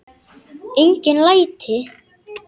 Engin læti.